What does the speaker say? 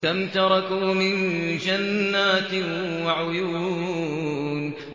كَمْ تَرَكُوا مِن جَنَّاتٍ وَعُيُونٍ